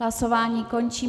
Hlasování končím.